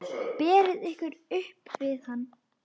Berið ykkur upp við hann!